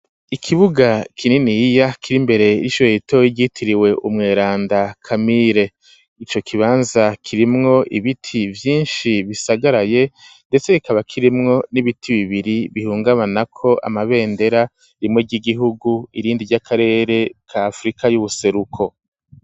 Ikibuga kininiya, kiri imbere y'ishure ritoyi ryitiriwe umweranda kamire; ico kibanza kirimwo ibiti vyinshi bisagaraye, ndetse kikaba kirimwo n'ibiti bibiri bihungabanako amabendera, rimwe ry'igihugu irindi ry'akarere ka afrika y'ubuseruko.